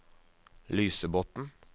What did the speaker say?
Lysebotn